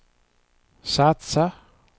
satsa